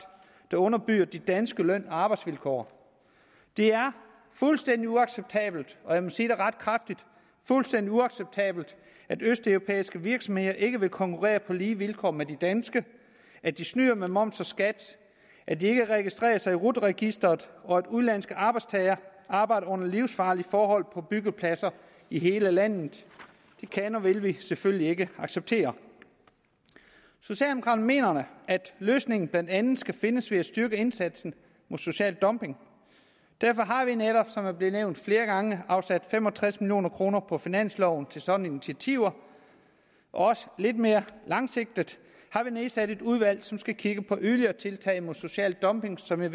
der underbyder de danske løn og arbejdsvilkår det er fuldstændig uacceptabelt og jeg må sige det ret kraftigt fuldstændig uacceptabelt at østeuropæiske virksomheder ikke vil konkurrere på lige vilkår med de danske at de snyder med moms og skat at de ikke registrerer sig i rut registeret og at udenlandske arbejdstagere arbejder under livsfarlige forhold på byggepladser i hele landet det kan og vil vi selvfølgelig ikke acceptere socialdemokraterne mener at løsningen blandt andet skal findes ved at styrke indsatsen mod social dumping derfor har vi netop som det er blevet nævnt flere gange afsat fem og tres million kroner på finansloven til sådanne initiativer og også lidt mere langsigtet har vi nedsat et udvalg som skal kigge på yderligere tiltag mod social dumping som jeg